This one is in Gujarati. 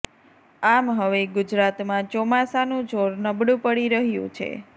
આમ હવે ગુજરાતમાં ચોમાસાનું જોર નબળુ પડી રહ્યુ છે